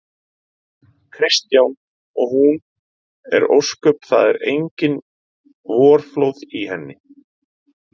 Kristján: Og hún er ósköp. það eru engin vorflóð í henni?